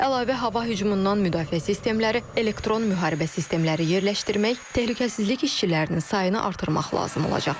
Əlavə hava hücumundan müdafiə sistemləri, elektron müharibə sistemləri yerləşdirmək, təhlükəsizlik işçilərinin sayını artırmaq lazım olacaq.